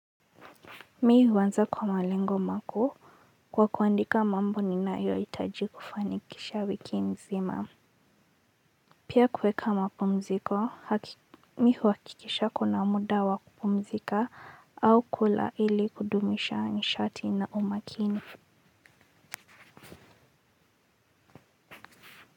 Mi huanza kwa malengo makuu kwa kuandika mambo ninayo hitaji kufanikisha wiki nzima pia kuweka mapumziko, me huhakikisha kuna muda wa kupumzika au kula ili kudumisha nishati na umakini.